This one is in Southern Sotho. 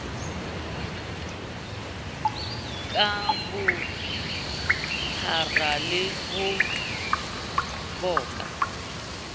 ka bophara le ho bopa